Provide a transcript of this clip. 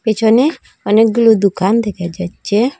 পেছনে অনেকগুলো দুকান দেকা যাচ্চে ।